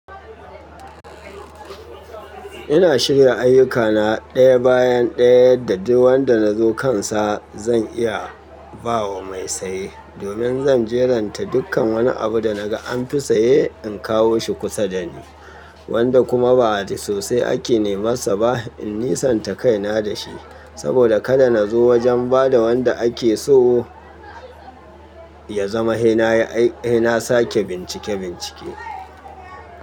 Ina shirya ayyukana ɗaya bayan ɗaya, da duk wadda na zo kansa zan iya ba wa mai saye. Domin zan jeranta dukkan wani abu da na ga anfi saye in kawo shi kusa da ni, wadda kuma ba da sosai ake neman sa ba. In nisanta kaina da shi, saboda kada na zo wajen ba da wadda ake so ya zama sai na sake bincike-bincike.